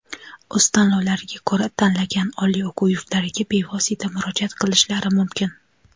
o‘z tanlovlariga ko‘ra tanlagan oliy o‘quv yurtlariga bevosita murojaat qilishlari mumkin.